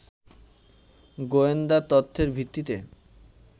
গোয়েন্দা তথ্যের ভিত্তিতে